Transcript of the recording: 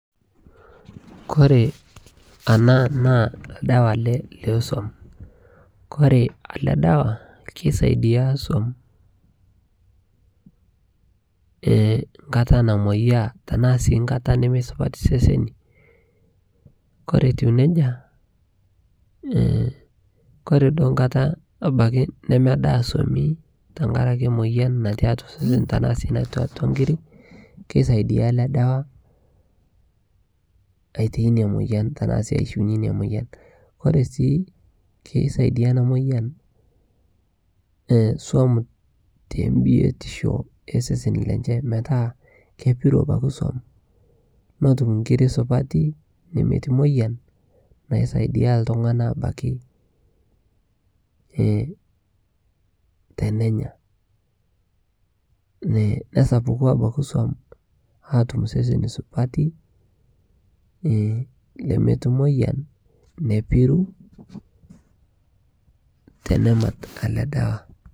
kore anaa naa ldawaa lee suom kore alee dawaa keisaidia suom nkataa namoyaa tanaa sii nkata nemeisupatii sesenii kore etuu nejaa kore duo nkataa abaki nemedaa suomi tankarakee moyan natii atua sesen tanaa sii natii atua nkirii keisaidia alee dawaa aitai inia moyan tanaa sii aishiunyee inia moyan kore sii keisaidia anaa moyan suom te mbitishoo ee sesenii lenchee metaa kepiruu abakii som notum nkirii supatii nemetii moiyan naisaidia ltungana abaki tenenyaa nesapukuu abakii suom atum seseni supati lemetii moiyan nepiruu tenemat alee dawaa